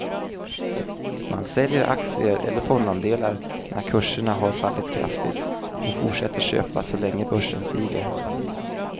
Man säljer aktier eller fondandelar när kurserna har fallit kraftigt och fortsätter köpa så länge börsen stiger.